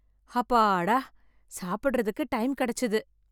அப்பாடா! சாப்பிடறதுக்கு டைம் கிடைச்சுது.